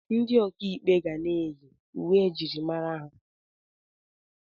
Ndị ọkà ikpe ga na-eyi uwe njirimara ha na wiig ha.